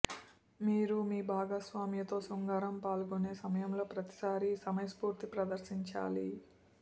మీరు మీ భాగస్వామితో శృంగారంలో పాల్గొనే సమయంలో ప్రతిసారీ సమయస్ఫూర్తి ప్రదర్శించాలి